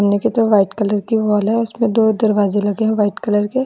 सामने की तरफ व्हाइट कलर की वॉल है उसमें दो दरवाजे लगे हैं व्हाइट कलर के।